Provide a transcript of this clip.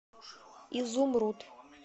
изумруд